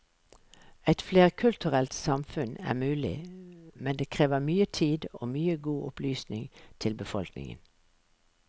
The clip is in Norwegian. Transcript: Et flerkulturelt samfunn er mulig, men det krever mye tid og mye god opplysning til befolkningen.